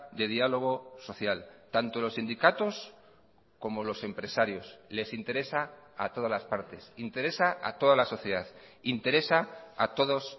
de diálogo social tanto los sindicatos como los empresarios les interesa a todas las partes interesa a toda la sociedad interesa a todos